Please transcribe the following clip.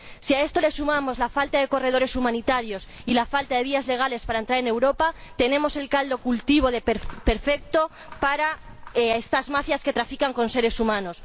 Si a esto le sumamos la falta de corredores humanitarios y la falta de vías legales para entrar en Europa, tenemos el caldo de cultivo perfecto para estas mafias que trafican con seres humanos.